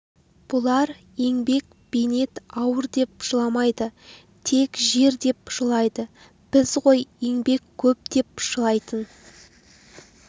бұлар еңбек бейнет ауыр деп жыламайды тек жер деп жылайды біз ғой еңбек көп деп жылайтын